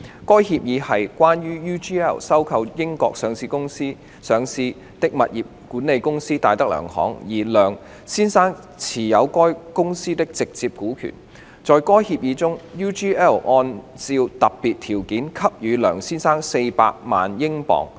該協議是關於 UGL 收購在英國上市的物業管理公司戴德梁行，而梁先生持有該公司的直接股權。在該協議中 ，UGL 按照特別條件，給予梁先生400萬英鎊。